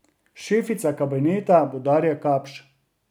Šefica kabineta bo Darja Kapš.